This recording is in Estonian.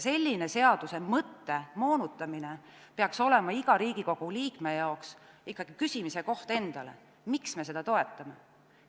Selline seaduse mõtte moonutamine peaks olema iga Riigikogu liikme jaoks ikkagi endalt küsimise koht, miks me seda toetame.